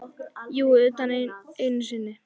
Jú, utan einu sinni.